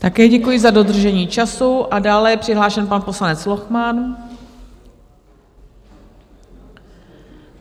Také děkuji za dodržení času a dále je přihlášen pan poslanec Lochman.